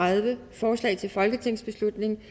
forslaget til folketingsbeslutning